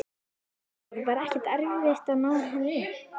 Hafþór: Var ekkert erfitt að ná henni upp?